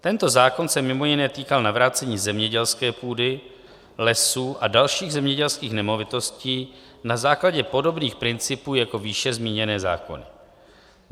Tento zákon se mimo jiné týkal navrácení zemědělské půdy, lesů a dalších zemědělských nemovitostí na základě podobných principů jako výše zmíněné zákony.